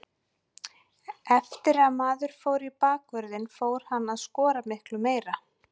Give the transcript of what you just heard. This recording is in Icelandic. Eftir að maður fór í bakvörðinn fór maður að skora miklu meira.